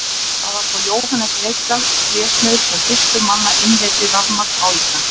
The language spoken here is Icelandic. Það var svo Jóhannes Reykdal trésmiður sem fyrstur manna innleiddi rafmagn á Íslandi.